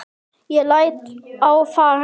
Ég læt á það reyna.